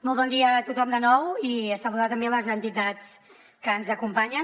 molt bon dia a tothom de nou i saludar també les entitats que ens acompanyen